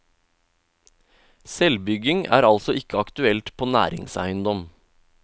Selvbygging er altså ikke aktuelt på næringseiendom.